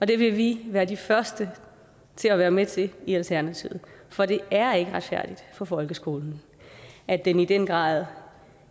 det vil vi være de første til at være med til i alternativet for det er ikke retfærdigt for folkeskolen at den i den grad